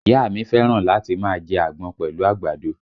Ìyá a mi fẹ́ràn láti máa jẹ́ àgbọn pẹ̀lú àgbàdo